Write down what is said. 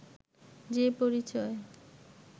যে পরিচয়